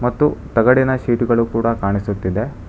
ಮತ್ತು ತಗಡಿನ ಶೀಟ್ಗಳು ಕೂಡ ಕಾಣಿಸುತ್ತಿದೆ.